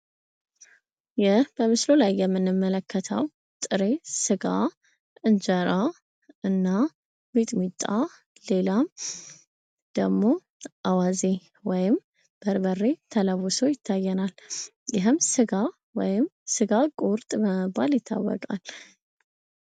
ይህ በምስሉ ላይ የምንመለከተው ጥሬ ስጋ ፣ እንጀራ እና ሚጥሚጣ ሌላም ደግሞ አዋዜ ወይም በርበሬ ተለውሶ ይታየናል ። ይህም ስጋ ወይም ስጋ ቁርጥ በመባል ይታወቃል ።